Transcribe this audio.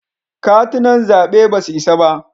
Katunan zaɓe ba su isa ba.